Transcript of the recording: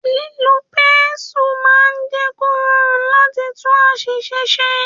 Lílo pẹ́nsu máa ń jẹ kò rọrùn láti tún àṣìṣe ṣe.